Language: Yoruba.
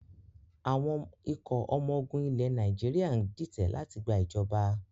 Àwọn ikọ̀ ọmọ ogun ilẹ̀ Nàìjíríà ń ditẹ̀ láti gba ìjọ̀ba